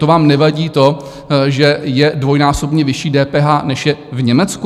To vám nevadí to, že je dvojnásobně vyšší DPH, než je v Německu?